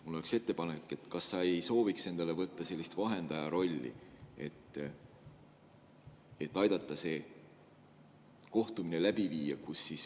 Mul on ettepanek: kas sa ei sooviks endale võtta sellist vahendaja rolli, et aidata see kohtumine läbi viia?